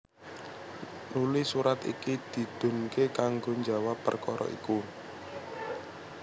Nuli surat iki didhunké kanggo njawab perkara iku